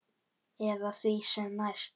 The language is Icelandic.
Eða því sem næst.